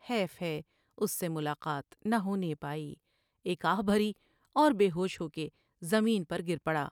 حیف ہے اس سے ملاقات نہ ہونے پائی ایک آہ بھری اور بے ہوش ہو کے زمین پر گر پڑا ۔